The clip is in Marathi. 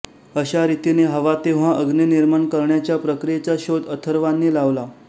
अशा रीतीने हवा तेव्हा अग्नी निर्माण करण्याच्या प्रक्रियेचा शोध अथर्वांनी लावला